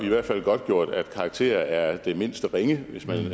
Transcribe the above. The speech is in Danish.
i hvert fald godtgjort at karakterer er det mindst ringe hvis man